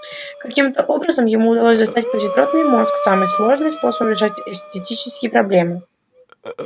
каким-то образом ему удалось достать позитронный мозг самый сложный способный решать этические проблемы